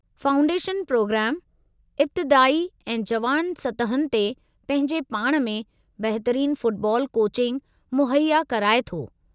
Foundation प्रोग्रामु इब्तिदाई ऐं जुवान सतहुनि ते पंहिंजे पाण में बहितरीन फ़ुटबाॅल कोचिंग मुहैया कराए थो।